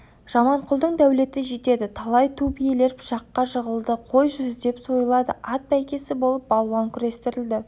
жаманқұлдың дәулеті жетеді талай ту биелер пышаққа жығылды қой жүздеп сойылады ат бәйгісі болып балуан күрестірілді